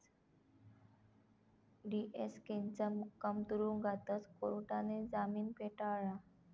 डीएसकेंचा मुक्काम तुरुंगातच, कोर्टाने जामीन फेटाळला